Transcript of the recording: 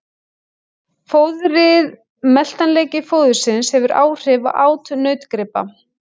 Fóðrið Meltanleiki fóðursins hefur áhrif á át nautgripa.